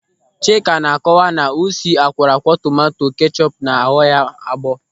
Chika na-akọwa na usi akwọrọakwọ tomanto kechọpu na-aghu ya agbọọ.